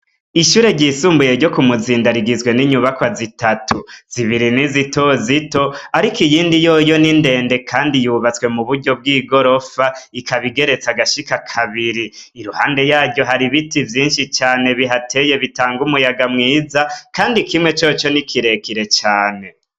Ishure ryisumbuye ryo kumuzinda rigizwe n'inyubakwa zitatu, zibiri ni Zitozito ariko iyindi ni ndende kandi yubatswe muburyo bw'igorofa ikaba igeretse agashika kabiri, iruhande yaryo hari ibiti vyishi cane bihateye bitanga umuyaga mwiza kandi kimwe coco ni kirekire cane.